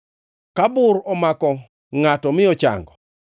Ka bur omako ngʼato mi ochango,